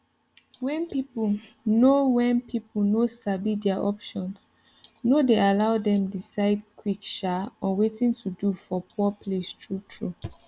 when people no when people no sabi their options no dey allow them decide quick um on watin to do for poor place true true